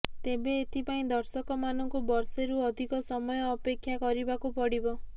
ତେବେ ଏଥିପାଇଁ ଦର୍ଶକମାନଙ୍କୁ ବର୍ଷେରୁ ଅଧିକ ସମୟ ଅପେକ୍ଷା କରିବାକୁ ପଡ଼ିବ